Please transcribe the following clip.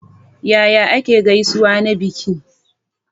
Yaya ake gaisuwa na biki?